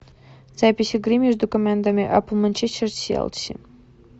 запись игры между командами апл манчестер челси